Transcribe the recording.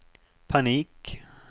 panik